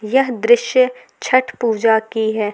यह दृश्य छठ पूजा की है।